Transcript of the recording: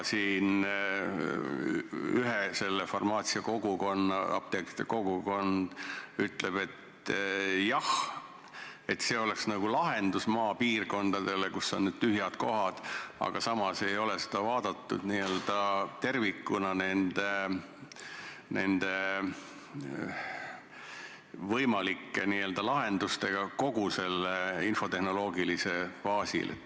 Siin üks farmaatsiakogukond, apteekrite kogukond ütleb, et jah, see oleks lahendus maapiirkondadele, kus on need tühjad kohad, aga samas ei ole seda vaadatud n-ö tervikuna, st koos võimalike lahendustega kogu selle infotehnoloogilisel baasil.